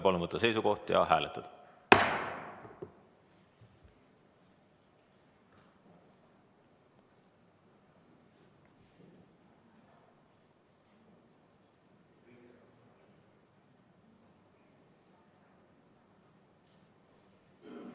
Palun võtta seisukoht ja hääletada!